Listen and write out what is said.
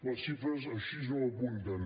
les xifres així no ho apunten